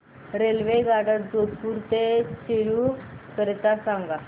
रेल्वेगाड्या जोधपुर ते चूरू करीता सांगा